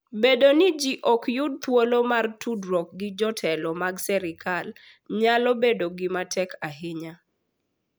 Bedo ni ji ok yud thuolo mar tudore gi jotelo mag sirkal nyalo bedo gima tek ahinya.